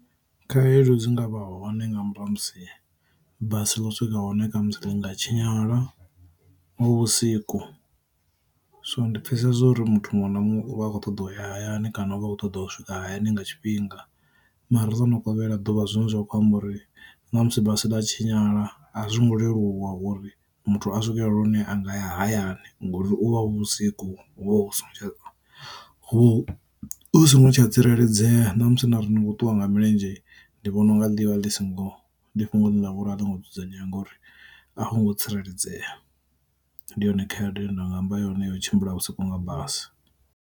Khaedu dzi ngavha hone nga murahu ha musi basi lwa swika hone musi ḽi nga tshinyala hu vhusiku, so ndi pfesesa uri muthu muṅwe na muṅwe u vha a kho ṱoḓa u ya hayani kana vha kho ṱoḓa u swika hayani nga tshifhinga. Mara ḽo no kovhela ḓuvha zwine zwa khou amba uri na musi basi ḽa tshinyala a zwo ngo leluwa uri muthu a swikelele lune a nga ya hayani ngauri u vha hu vhusiku hu vho hu so ngo tsha tsireledzea ṋamusi na ri ngo ṱuwa nga milenzhe ndi vhona unga ḽivha ḽi singo ndi fhungo ḽine ḽa vhori a ḽo ngo dzudzanyea ngori a ho ngo tsireledzea. Ndi yone khaedu ine nda nga amba yone ya u tshimbila vhusiku nga basi.